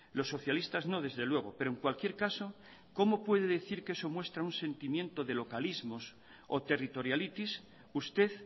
los socialistas no desde luego pero en cualquier caso cómo puede decir que eso muestra un sentimiento de localismos o territorialitis usted